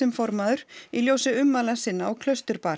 formaður í ljósi ummæla sinna á